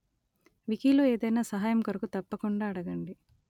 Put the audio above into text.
వికీలో ఏదైనా సహాయము కొరకు తప్పకుండా అడగండి